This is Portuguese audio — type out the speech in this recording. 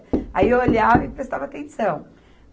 Aí eu olhava e prestava atenção.